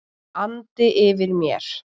andi yfir mér.